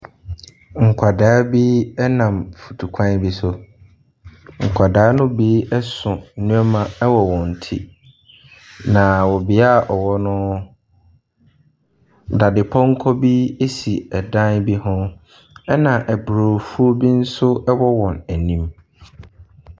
Nkwadaa bi nam mfutuo kwan bi so. Nkwadaa ne bi so nneɛma wɔ wɔn ti. Na wɔ bea wɔwɔ no, dadepɔnkɔ bi si dan bi ho. Na aburofuo bi nso wɔ wɔn anim.